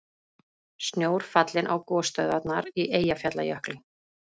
Snjór fallinn á gosstöðvarnar í Eyjafjallajökli